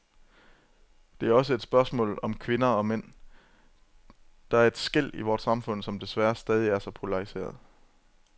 Det er også et spørgsmål om kvinder og mænd, der er et skel i vort samfund, som desværre stadig er så polariseret.